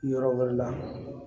Yɔrɔ wɛrɛ la